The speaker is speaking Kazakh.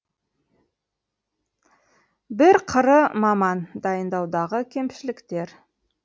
бір қыры маман дайындаудағы кемшіліктер